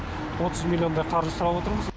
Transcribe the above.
отыз миллиондай қаржы сұрап отырмыз